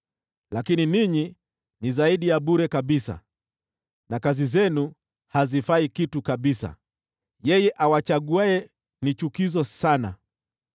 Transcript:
Lakini ninyi ni zaidi ya bure kabisa, na kazi zenu hazifai kitu kabisa; yeye awachaguaye ni chukizo sana.